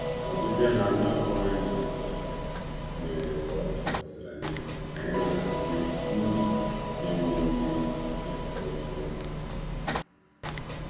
Nleta ha a na-atụghị anya ya bịara ozugbo ka anyị na-eme mgbanwe na-eme mgbanwe ná ndụ n’enweghị ndị anyị na ha bi.